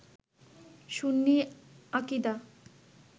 সুন্নি আকিদা